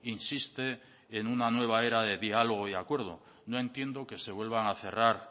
insiste en una nueva era de diálogo y acuerdo no entiendo que se vuelvan a cerrar